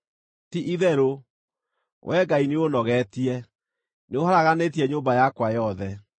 Ti-itherũ, Wee Ngai nĩũũnogeetie; nĩũharaganĩtie nyũmba yakwa yothe.